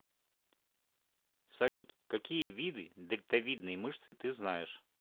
салют какие виды дельтовидные мышцы ты знаешь